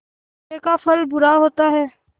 बुरे का फल बुरा होता है